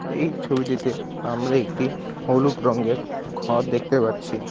এই ছবিটিতে আমরা একটি হলুদ রঙ্গের ঘর দেখতে পাচ্ছি।